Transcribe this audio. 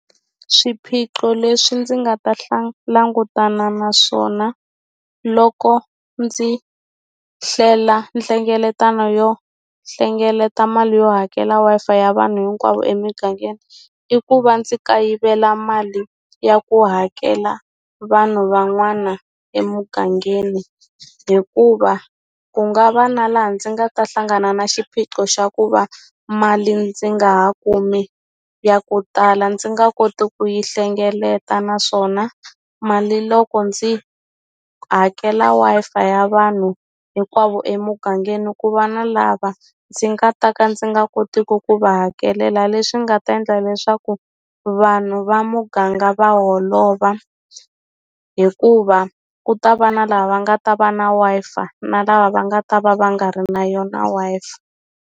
Swiphiqo leswi ndzi nga ta langutana na swona loko ndzi hlela nhlengeletano yo hlengeleta mali yo hakela Wi-Fi ya vanhu hinkwavo emungangeni i ku va ndzi kayivela mali ya ku hakela vanhu van'wana emugangeni hikuva ku nga va na laha ndzi nga ta hlangana na xiphiqo xa ku va mali ndzi nga ha kumi ya ku tala ndzi nga koti ku yi hlengeleta naswona mali loko ndzi hakela Wi-Fi ya vanhu hinkwavo emugangeni ku va na lava ndzi nga ta ka ndzi nga kotiku ku va hakelela leswi nga ta endla leswaku vanhu va muganga va holova hikuva ku ta va na lava va nga ta va na Wi-Fi na lava va nga ta va va nga ri na yona Wi-Fi.